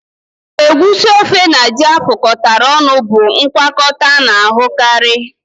Egusi ofe na ji afụkọta ọnụ bụ ngwakọta a na-ahụkarị